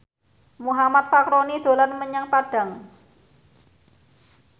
Muhammad Fachroni dolan menyang Padang